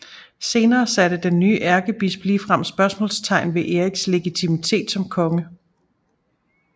Senere satte den nye ærkebisp ligefrem spørgsmålstegn ved Eriks legitimitet som konge